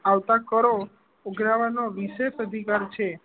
આવતા કરો ઉઘરાવાનો વિશેષ અધિકાર છે